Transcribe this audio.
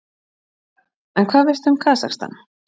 Karen: En hvað veistu um Kasakstan?